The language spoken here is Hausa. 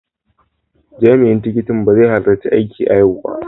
Jami'in tikitin ba zai halarci aiki a yau ba.